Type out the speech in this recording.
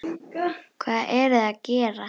Hvað eruð þið að gera?